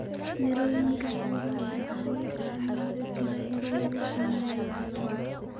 Mirooyinka qudaarada waxaa loo isticmaali karaa in lagu sameeyo casiir.